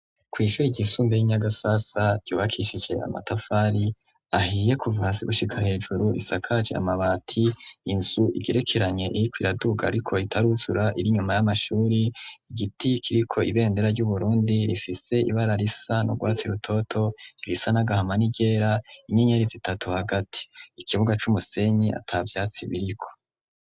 Kwishuri ryisumbuye ryi Nyagasasa ry'ubakishijwe amatafari ahiye kuva hasi gushika hejuru isakaje amabati inzu igerekeranye irikwiraduga ariko itaruzura iri nyuma y'amashuri igiti kiriko ibendera ryu Burundi rifise ibara risa no rwatsi rutoto irisa n'agahama n'iryera inyenyerizi itatu hagati ikibuga c'umusenyi ata vyatsi biriko.